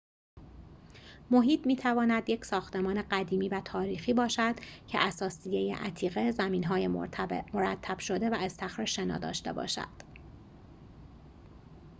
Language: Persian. محیط می‌تواند یک ساختمان قدیمی و تاریخی باشد که اثاثیه عتیقه زمین‌های مرتب شده و استخر شنا داشته باشد